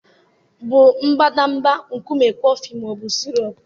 bụ mbadamba nkume coffex ma ọ bụ sirop?